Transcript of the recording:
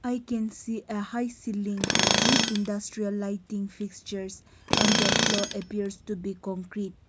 we can see ah high cilling with industrial lighting fixtures and the floor appears to be concrete.